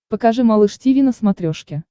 покажи малыш тиви на смотрешке